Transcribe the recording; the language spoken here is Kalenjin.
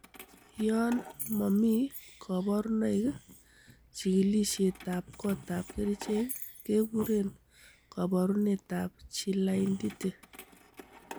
Yon momi koburoinoik, chikilisietab kotab kerichek kekuren koborunetab Chilaiditi.